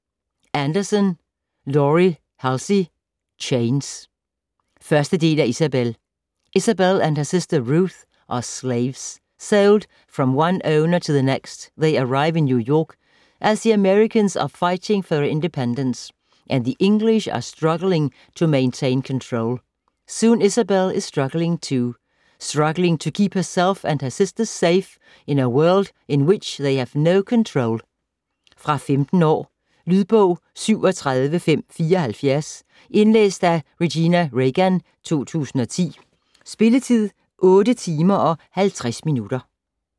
Anderson, Laurie Halse: Chains 1. del af Isabel. Isabel and her sister, Ruth, are slaves. Sold from one owner to the next, they arrive in New York as the Americans are fighting for their independence, and the English are struggling to maintain control. Soon Isabel is struggling too. Struggling to keep herself and her sister safe in a world in which they have no control. Fra 15 år. Lydbog 37574 Indlæst af Regina Reagan, 2010. Spilletid: 8 timer, 50 minutter.